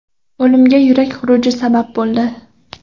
O‘limga yurak xuruji sabab bo‘ldi.